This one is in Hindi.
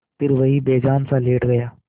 फिर वहीं बेजानसा लेट गया